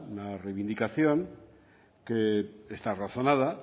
una reivindicación que está razonada